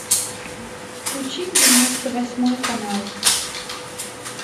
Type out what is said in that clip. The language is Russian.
включи девяносто восьмой канал